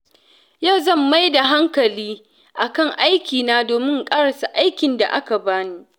Yau zan mai da hankali kan aikina domin in ƙarasa aikin da aka bani.